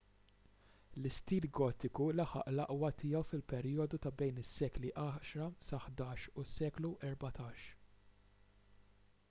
l-istil gotiku laħaq l-aqwa tiegħu fil-perjodu ta' bejn is-sekli 10 - 11 u s-seklu 14